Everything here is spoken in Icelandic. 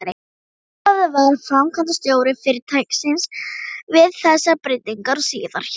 Ólafur varð framkvæmdastjóri fyrirtækisins við þessar breytingar og síðar hjá